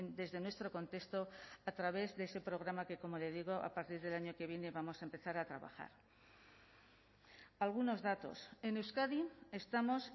desde nuestro contexto a través de ese programa que como le digo a partir del año que viene vamos a empezar a trabajar algunos datos en euskadi estamos